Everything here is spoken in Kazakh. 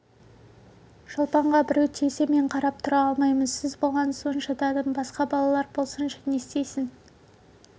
шолпанға біреу тисе мен қарап тұра алмаймын сіз болған соң шыдадым басқа балалар болсыншы не істейсің